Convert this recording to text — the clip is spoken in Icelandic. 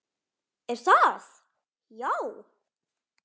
Er það, já?